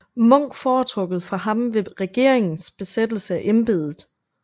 Munch foretrukket for ham ved regeringens besættelse af embedet